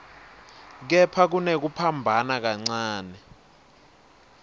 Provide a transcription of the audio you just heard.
kepha kunekuphambana kancane